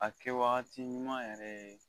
A kɛ wagati ɲuman yɛrɛ